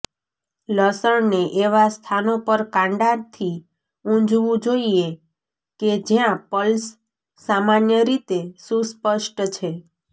લસણને એવા સ્થાનો પર કાંડાથી ઊંજવું જોઇએ કે જ્યાં પલ્સ સામાન્ય રીતે સુસ્પષ્ટ છે